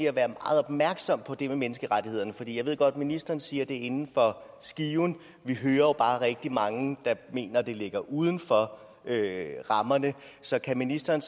at være meget opmærksom på det med menneskerettighederne jeg ved godt at ministeren siger at det er inden for skiven vi hører jo bare rigtig mange der mener at det ligger uden for rammerne så kan ministeren